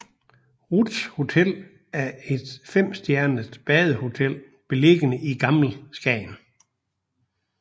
Ruths Hotel er et femstjernet badehotel beliggende i Gammel Skagen